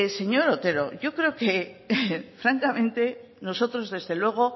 señor otero yo creo que francamente nosotros desde luego